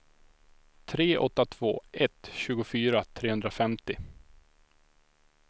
tre åtta två ett tjugofyra trehundrafemtio